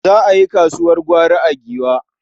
Za a yi kasuwar gwari a Giwa.